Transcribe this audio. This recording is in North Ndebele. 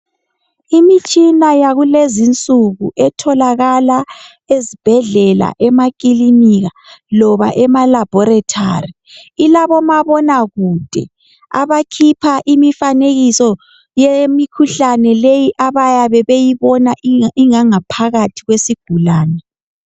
Imitshina yakulezinsuku etholakala ezibhedlela, emakilinika loba ema laboratory ilabomabonakude abakhipha imifanekiso yemikhuhlane leyi abayabe beyibona inganga phakathi kwesigulane.